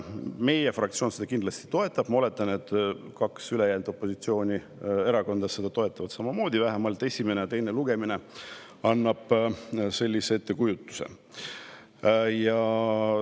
Meie fraktsioon seda kindlasti toetab ja ma oletan, et kaks ülejäänud opositsioonierakonda toetavad seda samamoodi – vähemalt esimene ja teine lugemine annavad sellise ettekujutuse.